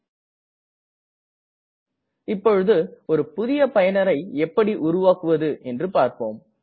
நாம் இப்போது ஒரு புதுய பயனரை எப்படி உருவாக்குவது என்று பார்ப்போம்